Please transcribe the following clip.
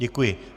Děkuji.